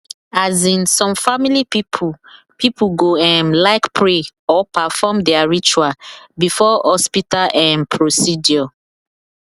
as in some family people people go um like pray or perfom their ritual before hospital um procedure